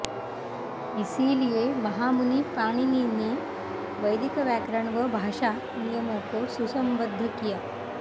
इसीलिए महामुनि पाणिनी ने वैदिक व्याकरण व भाषा नियमों को सुसंबद्ध किया